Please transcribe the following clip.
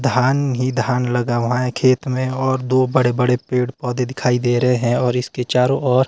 धान ही धान लगा हुआ है खेत मे और दो बड़े बडे पेड़ पौधे दिखाई दे रहे हैं और इसके चारों ओर--